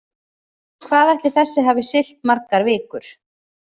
Hvað ætli þessi hafi siglt margar vikur?